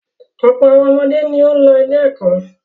Ọ̀pọ̀ àwọn ọmọdé ni ó ń lọ ilé-ẹ̀kọ́.